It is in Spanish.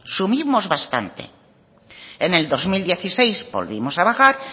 subimos bastante en el dos mil dieciséis volvimos a bajar